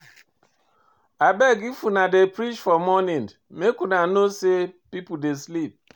Abeg if una dey preach for morning, make una know sey pipo dey sleep.